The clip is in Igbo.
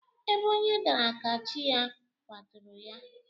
Ebe onye dara ka chi ya kwaturu ya